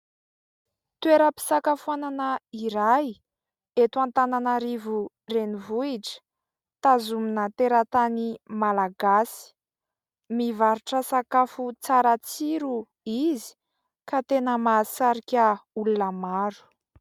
Toeram-pisakafoanana iray eto Antananarivo renivohitra, tazomina teratany malagasy, mivarotra sakafo tsara tsiro izy ka tena mahasarika olona maro.